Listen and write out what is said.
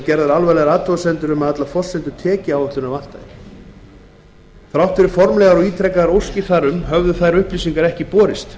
gerðar alvarlegar athugasemdir við að allar forsendur tekjuáætlunar vantaði þrátt fyrir formlegar og ítrekaðar óskir þar um höfðu þær upplýsingar ekki borist